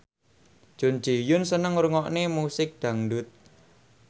Jun Ji Hyun seneng ngrungokne musik dangdut